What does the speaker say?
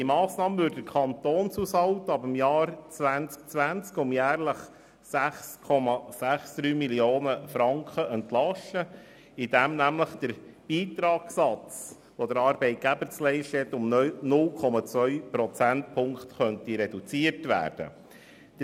Diese Massnahme würde den Kantonshaushalt um jährlich 6,63 Mio. Franken entlasten, indem der Beitragssatz, den der Arbeitgeber zu leisten hat, um 0,2 Prozentpunkte reduziert werden könnte.